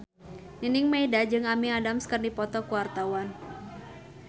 Nining Meida jeung Amy Adams keur dipoto ku wartawan